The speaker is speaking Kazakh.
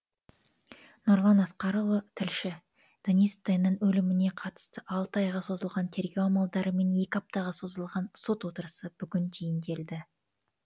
нұрлан асқарұлы тілші денис теннің өліміне қатысты алты айға созылған тергеу амалдары мен екі аптаға созылған сот отырысы бүгін түйінделді